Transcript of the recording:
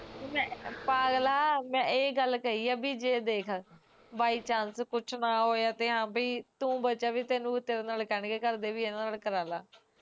ਓ ਪਾਗਲਾਂ ਮੈਂ ਏਹ ਗੱਲ ਕਹੀ ਐ ਵੀ ਜੇ ਦੇਖ ਬਾਈ chance ਪੁੱਛਣਾ ਹੋਇਆ ਵੀ ਹਾਂ ਭਾਈ ਜੇ ਤੂੰ ਬਚਿਆ ਵੀ ਤੇਨੂੰ ਤੇਰੇ ਨਾਲ਼ ਕਹਿ ਦੇਣਗੇ ਘਰਦੇ ਵੀ ਇਹਦੇ ਨਾਲ਼ ਕਰਾਲਾਂ